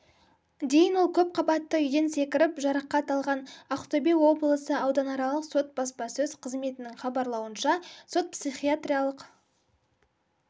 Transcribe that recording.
дейін ол көпқабатты үйден секіріп жарақат алған ақтөбе облысы ауданаралық сот баспасөз қызметінің хабарлауынша сот-психиатриялық